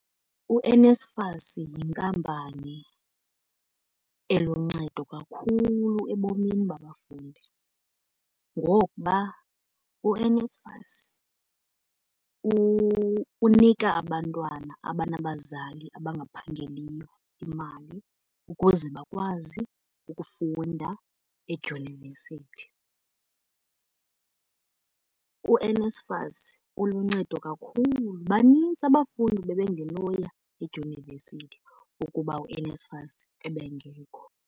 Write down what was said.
U-NSFAS yinkampani eluncedo kakhulu ebomini babafundi. Ngokuba uNSFAS unika abantwana abanabazali abangaphangeliyo imali ukuze bakwazi ukufunda edyunivesithu. U-NSFAS uluncedo kakhulu, banintsi abafundi bebengenoya edyunivesithi ukuba uNSFAS ebengekho.